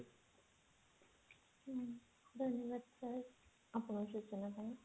ହଁ ଧନ୍ୟବାଦ sir ଆପଣଙ୍କ ସୂଚନା ପାଇଁ